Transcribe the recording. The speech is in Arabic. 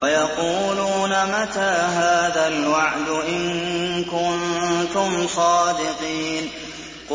وَيَقُولُونَ مَتَىٰ هَٰذَا الْوَعْدُ إِن كُنتُمْ صَادِقِينَ